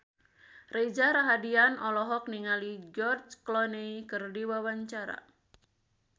Reza Rahardian olohok ningali George Clooney keur diwawancara